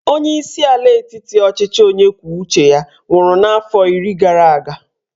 Onyeisi ala etiti ọchịchị onye kwuo uche ya nwụrụ n'afọ iri gara aga